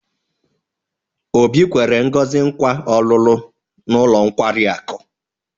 Obi nkwere Ngozi nkwa ọ̀lụ́lụ́ n'ụlọ nkwari akụ.